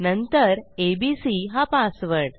नंतर एबीसी हा पासवर्ड